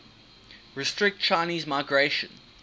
restrict chinese migration